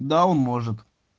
да он может